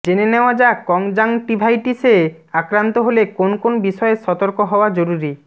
জেনে নেওয়া যাক কনজাংটিভাইটিসে আক্রান্ত হলে কোন কোন বিষয়ে সতর্ক হওয়া জরুরি